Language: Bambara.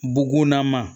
Bugunna ma